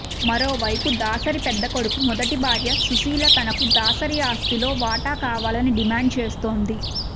మరో వైపు దాసరి పెద్దకొడుకు మొదటి భార్య సుశీల తనకు దాసరి ఆస్తిలో వాటా కావాలని డిమాండ్ చేస్తోంది